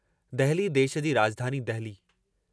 दहली देश जी राजधानी दहली।